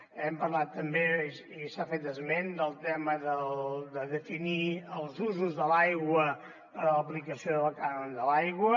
hem parlat també i s’ha fet esment del tema de definir els usos de l’aigua per a l’aplicació del cànon de l’aigua